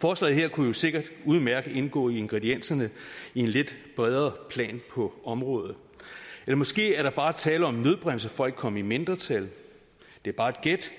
forslaget her kunne sikkert udmærket indgå i ingredienserne i en lidt bredere plan på området eller måske er der bare tale om en nødbremse for ikke at komme i mindretal det er bare et gæt